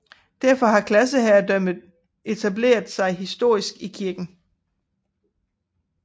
Derfor har klasseherredømme etableret sig historisk i kirken